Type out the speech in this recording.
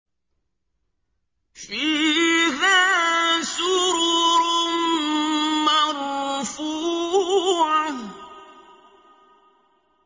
فِيهَا سُرُرٌ مَّرْفُوعَةٌ